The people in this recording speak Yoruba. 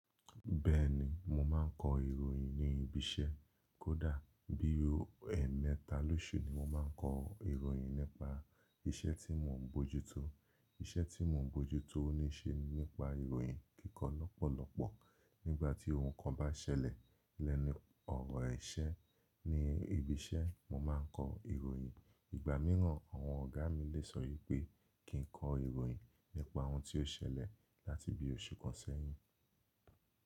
Bẹ́ẹ̀ni, mo máa ń kọ ìròyìn ní ibi iṣẹ́. Kódà bí ẹ̀ẹ̀mẹ́ta lóṣù ni mo máa ń kọ ìròyìn nípa iṣẹ́ tí mò ń bójútó. Iṣẹ́ tí mò ń bójútó ó ní í ṣe nípa ìròyìn kíkọ lọ́pọ̀lọpọ̀. Nígbà tí ohun kan bá ṣẹlẹ̀ lẹ́nu ọ̀rọ̀ ẹ̀ṣẹ́ ní ibi iṣẹ́, mo máa ń kọ ìròyìn. Ìgbà míràn, àwọn ọ̀gá mi lè sọ wí pé kí n kọ ìròyìn nípa ohun tí ó ṣẹlẹ̀ láti bí oṣù kan sẹ́yìn.